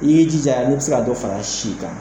I b'i jija n'i bi se ka dɔ fara si kan